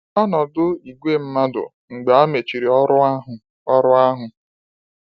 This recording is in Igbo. Ọnọdụ igwe mmadụ mgbe amachiri ọrụ ahụ ọrụ ahụ